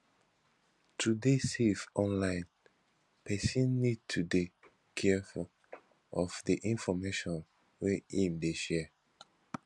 to dey safe online person need to dey careful of di information wey im dey share